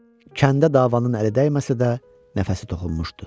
Kəndə davanın əli dəyməsə də, nəfəsi toxunmuşdu.